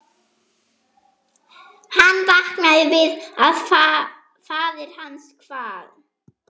Hann vaknaði við að faðir hans kvað: